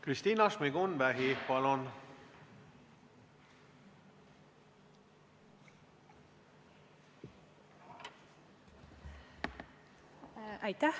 Kristina Šmigun-Vähi, palun!